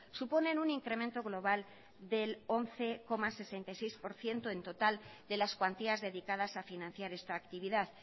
suponen un incremento global del once coma sesenta y seis por ciento del total de las cuantías dedicadas a financiar esta actividad